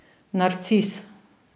Narcis.